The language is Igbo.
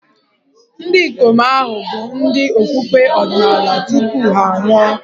Ndị ikom ahụ hà bụ ndị okpukpe ọdịnala tupu ha anwụọ?